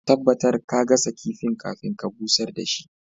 Ka tabatar ka gasa kifin kafin ka busher da shi.